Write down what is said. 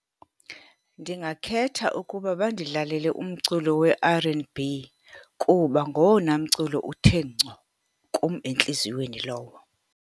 Ndingakhetha ukuba bandidlalele umculo we-R and B, kuba ngowona mculo uthe ngco kum entliziyweni lowo.